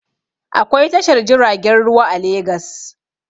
Akwai tashar jiragen ruwa a Legas